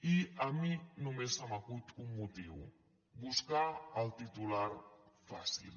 i a mi només se m’acut un motiu buscar el titular fàcil